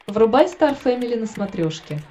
врубай стар фэмили на смотрешке